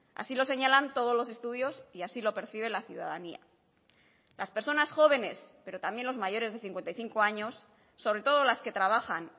así lo señalan todos los estudios y así lo percibe la ciudadanía las personas jóvenes pero también los mayores de cincuenta y cinco años sobre todo las que trabajan